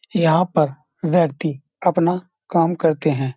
यहाँ पर व्यक्ति अपना काम करते हैं।